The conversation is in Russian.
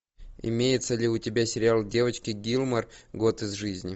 имеется ли у тебя сериал девочки гилмор год из жизни